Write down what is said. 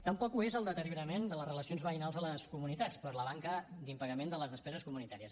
tampoc ho és el deteriorament de les relacions veïnals a les comunitats per la manca d’impagament de les despeses comunitàries